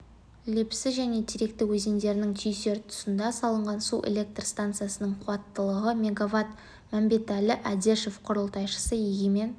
лепсі және теректі өзендерінің түйісер тұсында салынған су электр станциясының қуаттылығы мегаватт мәмбетәлі әдешов құрылтайшысы егемен